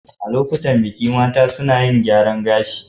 A lokuta na biki, mata suna yin gyaran gashi.